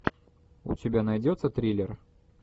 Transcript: у тебя найдется триллер